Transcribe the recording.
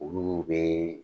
Olu be